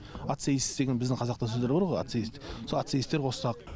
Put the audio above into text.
ат сейіс деген біздің қазақта сөздер бар ғой ат сейіс сол ат сейістер қоссақ